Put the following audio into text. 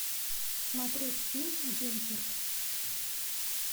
смотреть фильм дюнкерк